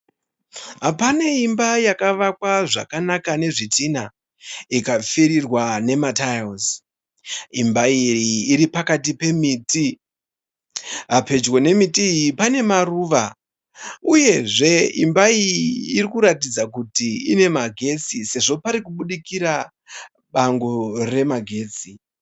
Pane imba yakakwa zvakanaka nezvidhinha ikapfirirwa nemataira imba iyi iri pakati pemiti, pedyo nemba iyi pane maruva uyezve imba iyi inoratidza kuti pane magetsi sezvo pari kubudikira bango rine magetsi.